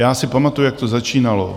Já si pamatuju, jak to začínalo.